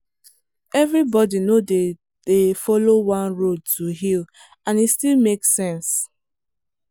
everybody no dey dey follow one road to heal and e still make sense.